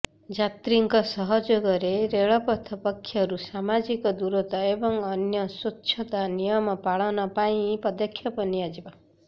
ଯାତ୍ରୀଙ୍କ ସହଯୋଗରେ ରେଳପଥ ପକ୍ଷରୁ ସାମାଜିକ ଦୂରତା ଏବଂ ଅନ୍ୟ ସ୍ବଚ୍ଛତା ନିୟମ ପାଳନ ପାଇଁ ପଦକ୍ଷେପ ନିଆଯିବ